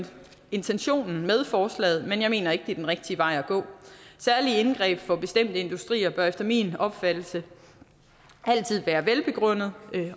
intentionen med forslaget men jeg mener ikke at det er den rigtige vej at gå særlige indgreb for bestemte industrier bør efter min opfattelse altid være velbegrundede